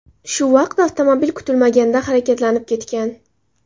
Shu vaqt avtomobil kutilmaganda harakatlanib ketgan.